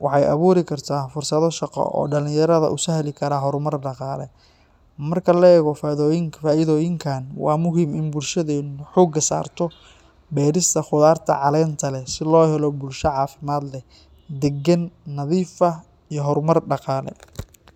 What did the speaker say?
Waxay abuuri kartaa fursado shaqo oo dhalinyarada u sahli kara horumar dhaqaale. Marka la eego faa'iidooyinkan, waa muhiim in bulshadeennu xoogga saarto beerista khudaarta caleenta leh si loo helo bulsho caafimaad leh, degaan nadiif ah, iyo horumar dhaqaale.